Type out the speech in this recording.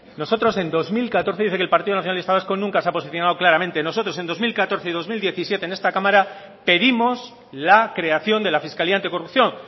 dice que el partido nacionalista vasco nunca se ha posicionado claramente nosotros en dos mil catorce y dos mil diecisiete en esta cámara pedimos la creación de la fiscalía anticorrupción